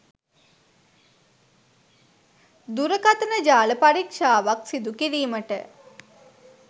දුරකථන ජාල පරීක්ෂාවක් සිදුකිරීමට